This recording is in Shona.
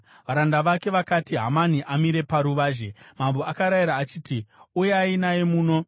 Varanda vake vakati, “Hamani amire paruvazhe?” Mambo akarayira achiti, “Uyai naye muno.”